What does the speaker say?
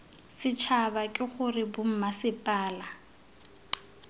setšhaba k g r bommasepala